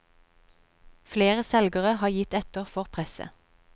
Flere selgere har gitt etter for presset.